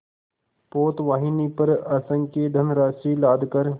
पोतवाहिनी पर असंख्य धनराशि लादकर